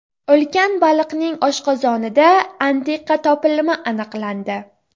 Ulkan baliqning oshqozonida antiqa topilma aniqlandi .